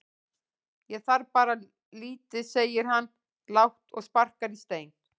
Ég þarf bara lítið segir hann lágt og sparkar í stein.